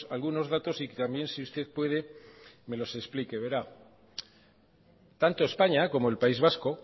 algunos datos y también si usted puede me los explique verá tanto españa como el país vasco